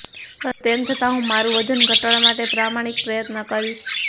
પરંતુ તેમ છતા હુ્ં મારું વજન ઘટાડવા માટે પ્રામાણિક પ્રયત્ન કરીશ